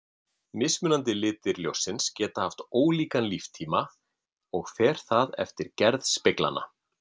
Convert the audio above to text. Mismunandi litir ljóssins geta haft ólíkan líftíma og fer það eftir gerð speglanna.